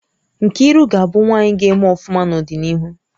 Nkiruka ga-abu nwaanyị gá-eme ọfụma n'odinihu